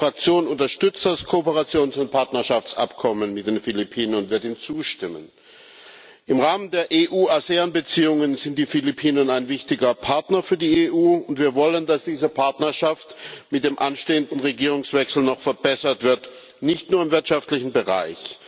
Unsere Fraktion unterstützt das Kooperations und Partnerschaftsabkommen mit den Philippinen und wird ihm zustimmen. Im Rahmen der EU ASEAN Beziehungen sind die Philippinen ein wichtiger Partner für die EU, und wir wollen, dass diese Partnerschaft mit dem anstehenden Regierungswechsel noch verbessert wird, nicht nur im wirtschaftlichen Bereich.